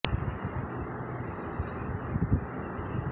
এ আসনে প্রতিদ্বন্দ্বিতা করছেন মহাজোটভুক্ত আওয়ামী লীগ প্রার্থী ডা